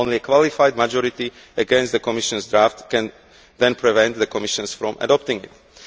only qualified majority against the Commission's draft can then prevent the Commission from adopting